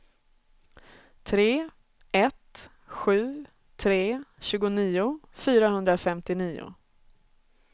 tre ett sju tre tjugonio fyrahundrafemtionio